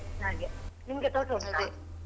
ಹಾಗೆ ನಿಮ್ಗೆ ತೋಟ ಉಂಟಾ?